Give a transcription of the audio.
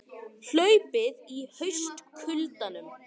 Hlaupið í haustkuldanum